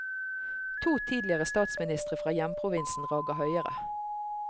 To tidligere statsministre fra hjemprovinsen rager høyere.